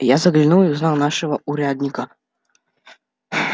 я заглянул и узнал нашего урядника